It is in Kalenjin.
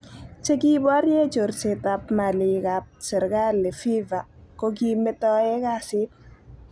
Chekiborie chorsetab malikab serikali FIFA kokimetoe kasit.